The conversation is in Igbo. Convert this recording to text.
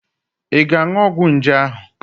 Ị ga-aṅụ ọgwụ nje ahụ?